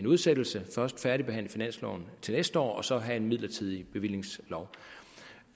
udsættelse og først færdigbehandle finansloven til næste år og så have en midlertidig bevillingslov